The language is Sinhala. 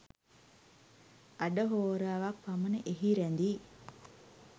අඩ හෝරාවක් පමණ එහි රැඳී